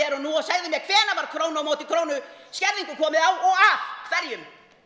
og nú og segði mér hvenær var krónu á móti krónu skerðingu komið á og af hverjum